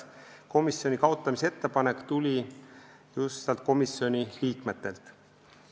Komisjoni kaotamise ettepanek tuli just komisjoni liikmetelt.